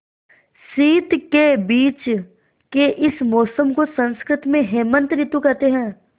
शीत के बीच के इस मौसम को संस्कृत में हेमंत ॠतु कहते हैं